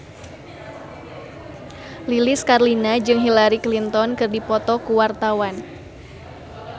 Lilis Karlina jeung Hillary Clinton keur dipoto ku wartawan